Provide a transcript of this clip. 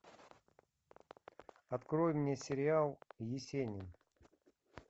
открой мне сериал есенин